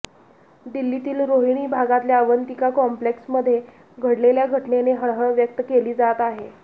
दिल्लीतील रोहिणी भागातल्या अवंतिका कॉम्प्लेक्समध्ये घडलेल्या घटनेने हळहळ व्यक्त केली जात आहे